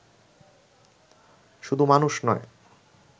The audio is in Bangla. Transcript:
শুধু মানুষ নয়